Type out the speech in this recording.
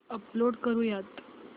upload करुयात